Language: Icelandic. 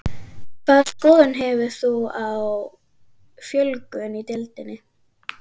Hvaða skoðun hefur þú á fjölgun í deildinni?